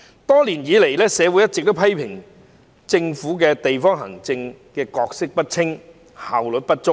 多年來，社會一直批評政府的地區行政角色不清，效率不足。